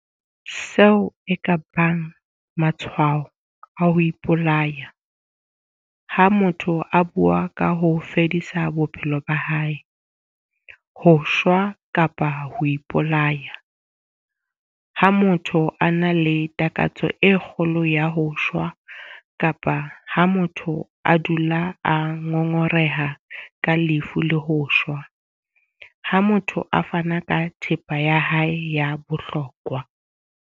Seo e ka bang matshwao a ho ipolaya - Ha motho a bua ka ho fedisa bophelo ba hae, ho shwa kapa ho ipolaya. Ha motho a na le takatso e kgolo ya ho shwa kapa ha motho a dula a ngongoreha ka lefu le ho shwa. Ha motho a fana ka thepa ya hae ya bohlokwa.